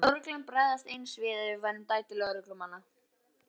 Myndi lögreglan bregðast eins við ef við værum dætur lögreglumanna?